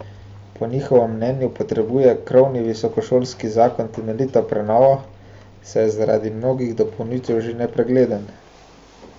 Po njihovem mnenju potrebuje krovni visokošolski zakon temeljito prenovo, saj je zaradi mnogih dopolnitev že nepregleden.